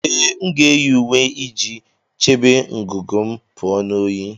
Ee, m ga-eyi uwe iji chebe ngụgụ m pụọ na oyi